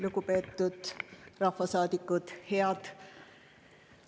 Lugupeetud rahvasaadikud!